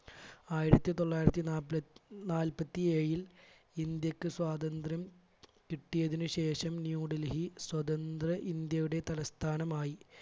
ആയിരത്തി തൊള്ളായിരത്തി നാൽ~നാൽപ്പത്തി ഏഴിൽ ഇന്ത്യയ്ക്ക് സ്വാതന്ത്ര്യം കിട്ടിയതിനു ശേഷം ന്യൂഡൽഹി സ്വതന്ത്ര ഇന്ത്യയുടെ തലസ്ഥാനമായി.